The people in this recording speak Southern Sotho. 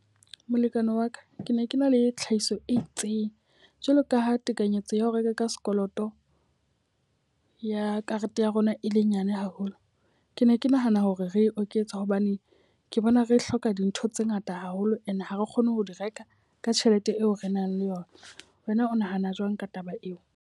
Molekane wa ka, ke ne ke na le tlhahiso e itseng jwalo ka ha tekanyetso ya ho reka ka sekoloto ya karete ya rona e le nyane haholo. Ke ne ke nahana hore re e oketsa hobane ke bona re hloka dintho tse ngata haholo. E ne ha re kgone ho di reka ka tjhelete eo re nang le yona. Wena o nahana jwang ka taba eo?